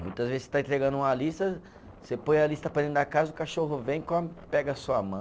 Muitas vezes você está entregando uma lista, você põe a lista para dentro da casa, o cachorro vem e come, pega a sua mão.